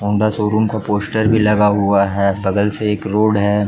Honda showroom का poster भी लगा हुआ है बगल में एक रोड हैं।